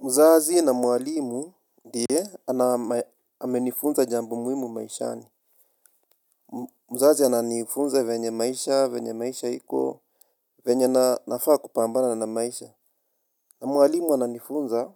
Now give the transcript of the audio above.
Mzazi na mwalimu ndiye amenifunza jambo muhimu maishani. Mzazi ananifunza venye maisha, venye maisha iko, venye nafaa kupambana na maisha. Na mwalimu ananifunza,